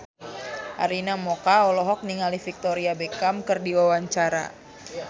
Arina Mocca olohok ningali Victoria Beckham keur diwawancara